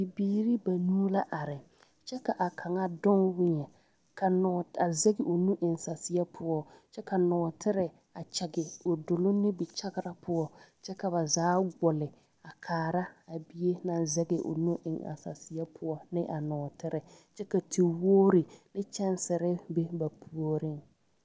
Bibiiri banuu la are kyɛ ka kaŋa doŋ weɛŋ ka nɔɔ a zɛge o nu eŋ saseɛ poɔ Kyɛ ka nɔɔtere a kyage o doloŋ nubikyagra poɔ kyɛ ka ba zaa gbole a kaara a bie naŋ zɛge o nu eŋ a saseɛ poɔ ne a nɔɔtere kyɛ ka tewogri ne kyɛnsere be ba puoriŋ.